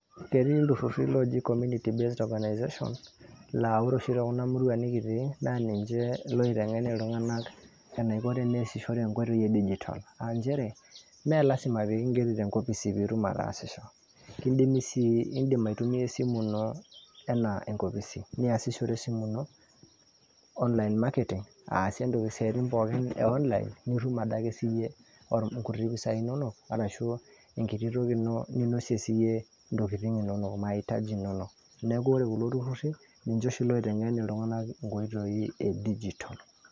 ketii ilturruri looji community based organization laa ore oshi tokuna murua nikitii naa ninche loiteng'en iltung'anak eniko teneesishore enkoitoi e digital aa nchere melasima pee kingeri tenkopisi piitum ataasisho kindimi sii indim aitumia esimu ino anaa enkopisi niyasishore esimu ino online marketing aasie isiaitin pookin e online nitum adake siiyie inkuti pisa inonok arashu enkiti toki ino ninosie siiyie intokitin inonok mahitaji inonok neeku ore kulo turruri ninche oshi loiteng'en iltung'anak inkoitoi e digital.